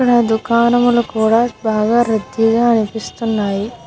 ఇక్కడ దోకనము లో కూడా రడిగా అనిపిస్తున్నాయి.